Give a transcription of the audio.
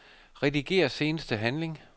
Rediger seneste handling.